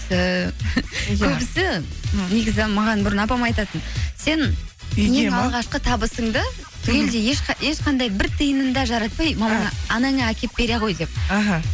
ііі көбісі негізі маған бұрын апам айтатын сен алғашқы табысыңды түгелдей ешқандай бір тиынын да жаратпай анаңа әкеліп бере ғой деп іхі